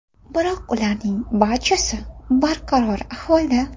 Biroq ularning barchasi barqaror ahvolda.